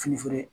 Fini feere